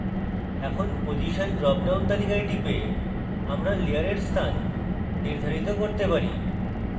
এখন position drop down তালিকায় টিপে আমরা layer স্থান নির্ধারিত করতে পারি